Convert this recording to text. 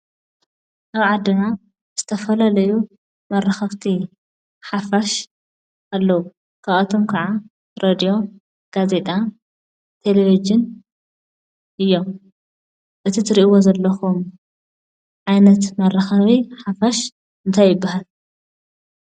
ኣብ ዓድና ዝተፈላለዩ መራከብቲ ሓፋሽ ኣለዉ፡፡ ካብኣቶም ከዓ ሬድዮ፣ ጋዜጣን ቴለቭዥንን እዮም፡፡ እዚ እትሪእዎ ዘለኹም ዓይነት መራከቢ ሓፋሽ እንታይ ይባሃል?